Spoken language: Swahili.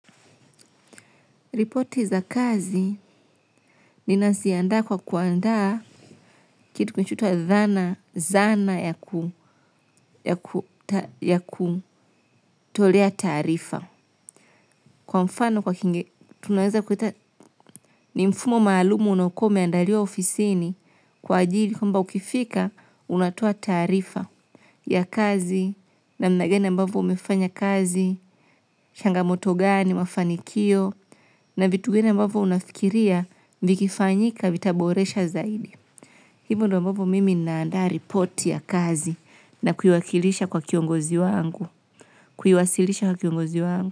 Ripoti za kazi ni naziandaa kwa kuandaa kitu kinachoitwa zana ya kutolea taarifa. Kwa mfano kwa ni mfumo maalum unaokuwa umeandaliwa ofisini kwa ajili. Kwamba ukifika, unatoa taarifa ya kazi namna gani ambavyo umefanya kazi, changamoto gani, mafanikio, na vitu vingine ambavyo unafikiria vikifanyika vitaboresha zaidi. Hivo ndio ambavyo mimi naandaa ripoti ya kazi na kuiwakilisha kwa kiongozi wangu, kuiwasilisha kwa kiongozi wangu.